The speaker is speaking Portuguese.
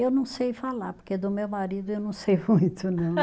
Eu não sei falar, porque do meu marido eu não sei muito, não.